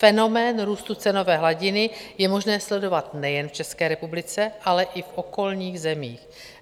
Fenomén růstu cenové hladiny je možné sledovat nejen v České republice, ale i v okolních zemích.